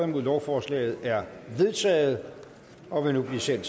nul lovforslaget er vedtaget og vil nu blive sendt